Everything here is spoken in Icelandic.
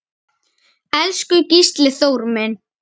Elsku Gísli Þór minn.